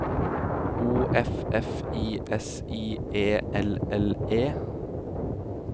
O F F I S I E L L E